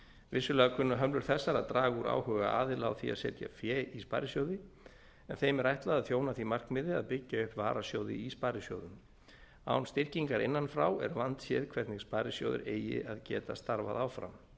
vissulega kunna hömlur þessar að draga úr áhuga aðila á því að setja fé í sparisjóði en þeim er ætlað að þjóna því markmiði að byggja upp varasjóði í sparisjóðum án styrkingar innan frá er vandséð hvernig sparisjóðir eigi að geta starfað áfram